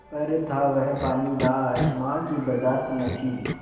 पर था वह पानीदार मार की बरदाश्त न थी